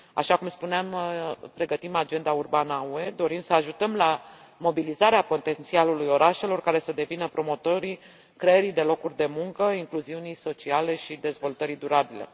Așa cum spuneam, pregătim agenda urbană a UE, dorim să ajutăm la mobilizarea potențialului orașelor, care să devină promotorii creării de locuri de muncă, ai incluziunii sociale și ai dezvoltării durabile.